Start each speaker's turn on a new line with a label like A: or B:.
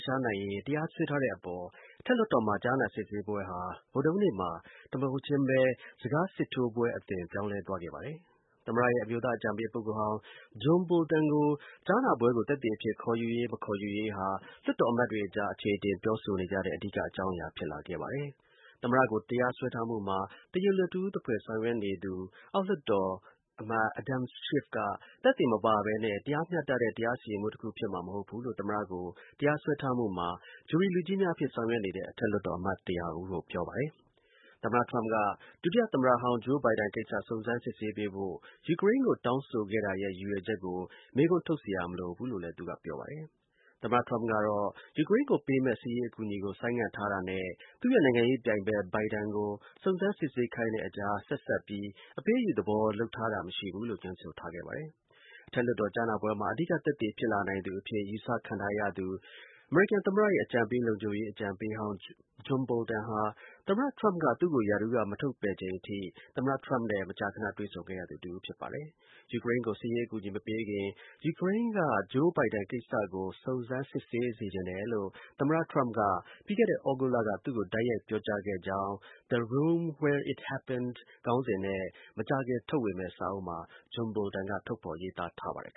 A: ရှားနိုင်ရေး တရားစွဲထားတဲ့အပေါ် အထက်လွှတ်တော်မှာ ကြားနာစစ်ဆေးပွဲဟာ ဗုဒ္ဓဟူးနေ့မှာ တစ်မုဟုတ်ချင်းပဲ စကား စစ်ထိုးပွဲ အသွင်း ပြောင်းလဲသွားခဲ့ပါတယ်။ သမ္မတရဲ့ အမျိုးသား အကြံပေး ပုဂ္ဂိုလ်ဟောင်း John Bolton ကို ကြားနာပွဲကို သက်သေအဖြစ် ခေါ်ယူရေး မခေါ်ယူရေးဟာ လွှတ်တော်အမတ်တွေ အကြား အခြေအတင် ပြောဆိုကြတဲ့ အဓိက အကြောင်းအရာ ဖြစ်လာခဲ့ပါတယ်။ သမ္မတကို တရားစွဲထားမှုမှာ တရားလိုတစ်ဦး သဖွယ် ဆောင်ရွက်နေသူ အောက်လွှတ်တော် အမတ် Adam Schiff က သက်သေမပါဘဲနဲ့ တရားမျှတတဲ့ တရားစီရင်မှုတခု ဖြစ်မှာ မဟုတ်ဘူးလို့ သမ္မတကို တရားစွဲထားမှုမှာ ဂျူရီလူကြီးများအဖြစ် ဆောင်ရွက်နေတဲ့ အထက်လွှတ်တော် အမတ် ၁၀၀ ကို ပြောပါတယ်။ သမ္မတ ထရမ့်က ဒုတိယ သမ္မတတောင်း Joe Biden ကိစ္စ စုံစမ်းစစ်ဆေးပေးဖို့ ယူကရိန်းကို တောင်းဆိုခဲ့တာရဲ့ ရည်ရွယ်ချက်ကို မေးခွန်း ထုတ်စရာ မလိုဘူးလို့လည်း သူက ပြောပါတယ်။ သမ္မတ ထရမ့်ကတော့ ယူကရိန်းကို ပေးမယ့် စစ်ရေး အကူအညီကို ဆိုင်းငံ့ထားတာနဲ့ သူ့ရဲ့နိုင်ငံရေး ပြိုင်ဖက် Biden ကို စုံစမ်းစစ်ဆေးခိုင်းတဲ့ အကြား ဆက်စပ်ပြီး အပေးအယူ သဘောလုပ်ထားတာ မရှိဘူးလို့ ငြင်းဆိုထားပါတယ်။ အထက်လွှတ်တော် ကြားနာပွဲမှာ အဓိက သက်သေဖြစ်လာနိုင်သူ အဖြစ် ယူဆခံထားရသူ အမေရိကန် သမ္မတရဲ့ အမျိုးသား လုံခြုံရေး အကြံပေးဟောင်း Bolton ဟာ သမ္မတထရမ့်က သူ့ကို ရာထူးက မထုတ်ပယ်ချိန်အထိ သမ္မတထရမ့်နဲ့ မကြာ ခဏ တွေ့ဆုံရသူတစ်ဦး ဖြစ်ပါတယ်။ ာ ယူကရိမ်းကို စစ်ရေး အကူအညီ မပေးခင် ယူကရိန်းက Joe Biden ကိစ္စကို စုံစမ်းစစ်ဆေးစေချင်တယ်လို့ သမ္မတ ထရမ့်က ပြီးခဲ့တဲ့ သြဂုတ်လက သူ့ကို တိုက်ရိုက် ပြောကြားခဲ့ကြောင်း The Room Where It Happened ခေါင်းစဉ်နဲ့ မကြာခင် ထုတ်ဝေမယ့် စာအုပ်မှ Bolton က ထုတ်ဖော် ရေးသားထားပါတယ်